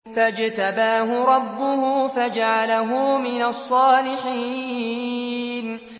فَاجْتَبَاهُ رَبُّهُ فَجَعَلَهُ مِنَ الصَّالِحِينَ